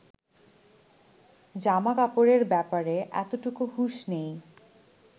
জামাকাপড়ের ব্যাপারে এতটুকু হুঁশ নেই